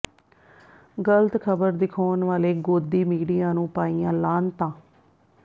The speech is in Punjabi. ਗ਼ਲਤ ਖ਼ਬਰ ਦਿਖਾਉਣ ਵਾਲੇ ਗੋਦੀ ਮੀਡੀਆ ਨੂੰ ਪਾਈਆਂ ਲਾਹਣਤਾਂ